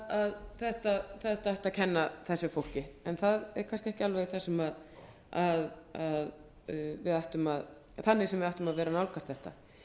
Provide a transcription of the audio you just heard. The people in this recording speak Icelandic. að þetta ætti að kenna þessu fólki en það er kannski ekki alveg þannig sem við ættum að nálgast þetta